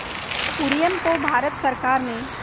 कुरियन को भारत सरकार ने